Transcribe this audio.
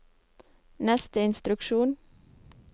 neste instruksjon